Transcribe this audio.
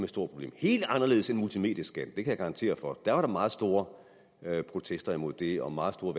store problem helt anderledes end multimedieskatten det kan jeg garantere for der var meget store protester imod det og meget store